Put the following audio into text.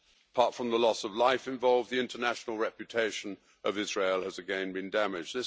Apart from the loss of life involved, the international reputation of Israel has again been damaged.